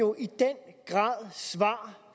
jo i den grad svar